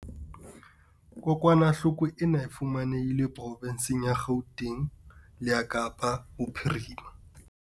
Kokwanahloko ena e fumanehile profensing ya Gauteng le ya Kapa Bophirima.